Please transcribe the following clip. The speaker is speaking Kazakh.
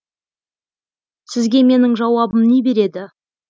сізге менің жауабым не береді